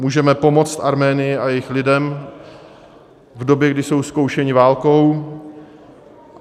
Můžeme pomoct Arménii a jejím lidem v době, kdy jsou zkoušeni válkou.